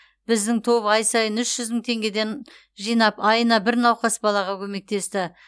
біздің топ ай сайын үш жүз мың теңгеден жинап айына бір науқас балаға көмектесті